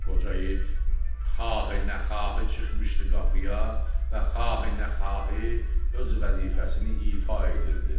Qoca it xahi-nə xahi çıxmışdı qapıya və xahi-nə xahi öz vəzifəsini ifa edirdi.